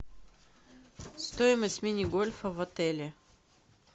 стоимость мини гольфа в отеле